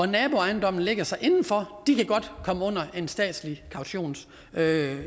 naboejendommen ligger så indenfor de kan godt komme under en statslig kautionsbæring